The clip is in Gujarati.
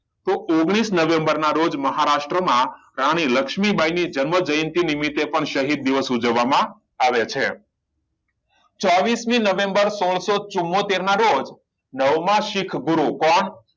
તો ઓગણીસ નવેમ્બર ના રોજ મહારાષ્ટમાં રાણી લક્ષ્મીબાઇ ની જન્મ જયંતિ નિમિતે પણ શહીદ દિવસ ઉજવવામાં આવે છે ચોવીસ મી નવેમ્બર સોળસો ચુંમોતેર ના રોજ નવમા સીખ ગુરુ કોણ